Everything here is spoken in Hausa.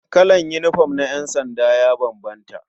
Kalan yinifom na ƴansanda ya bambanta.